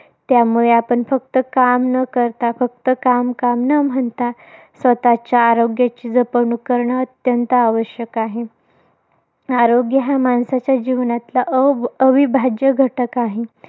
त्यामुळे आपण फक्त काम न करता. फक्त काम काम न म्हणता, स्वतःच्या आरोग्याची जपणूक करणं अत्यंत आवश्यक आहे. आरोग्य हा माणसाच्या जीवनातला अ अविभाज्य घटक आहे.